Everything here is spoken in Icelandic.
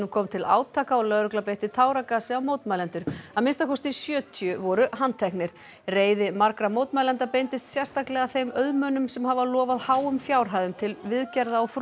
kom til átaka og lögregla beitti táragasi á mótmælendur að minnsta kosti sjötíu voru handteknir reiði margra mótmælenda beindist sérstaklega að þeim auðmönnum sem hafa lofað háum fjárhæðum til viðgerða á